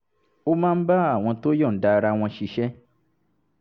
ó máa ń bá àwọn tó yọ̀ǹda ara wọn ṣiṣẹ́